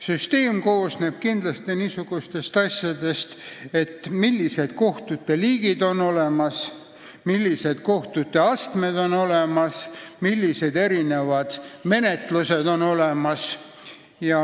Süsteem oleneb sellest, millised kohtute liigid on olemas, millised kohtute astmed on olemas, millised erinevad menetlused on olemas.